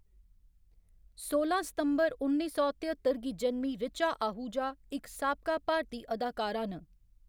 सोलां सितंबर उन्नी सौ तेअत्तर गी जनमीं ऋचा आहूजा इक साबका भारती अदाकारा न।